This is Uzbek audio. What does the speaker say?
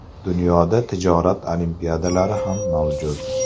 Dunyoda tijorat olimpiadalari ham mavjud.